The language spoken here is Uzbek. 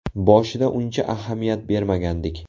Boshida uncha ahamiyat bermagandik.